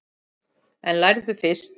En lærðu fyrst.